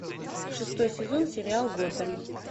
шестой сезон сериал готэм